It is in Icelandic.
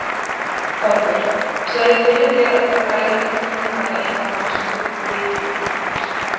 Þorbjörn: Sérðu fyrir þér að það dragi til tíðinda eitthvað á næstu vikum í þessu?